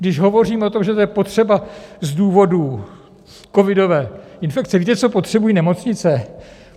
Když hovoříme o tom, že to je potřeba z důvodu covidové infekce - víte, co potřebují nemocnice?